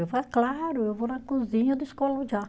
Eu falava, claro, eu vou na cozinha descolo já.